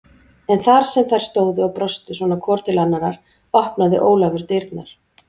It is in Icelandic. En þar sem þær stóðu og brostu svona hvor til annarrar opnaði Ólafur dyrnar.